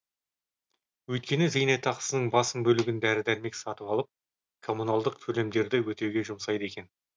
өйткені зейнетақысының басым бөлігін дәрі дәрмек сатып алып коммуналдық төлемдерді өтеуге жұмсайды екен